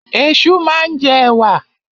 Ẹ̀ṣu máa ń jẹ ẹ̀wà.